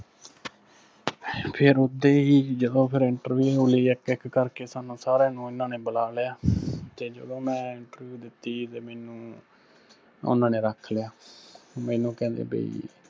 ਫਿਰ ਉੱਧੇ ਹੀ ਜਦੋਂ ਫਿਰ interview ਲਈ ਇੱਕ ਇੱਕ ਕਰਕੇ ਸਾਨੂੰ ਸਾਰਿਆਂ ਨੂੰ ਇਹਨਾ ਨੇ ਬੁਲਾ ਲਿਆ, ਤੇ ਜਦੋਂ ਮੈਂ interview ਦਿੱਤੀ ਤੇ ਮੈਨੂੰ ਉਹਨਾਂ ਨੇ ਰੱਖ ਲਿਆ। ਮੈਨੂੰ ਕਹਿੰਦੇ ਬਈ